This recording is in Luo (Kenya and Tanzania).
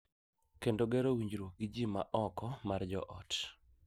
Kendo gero winjruok gi ji ma oko mar joot.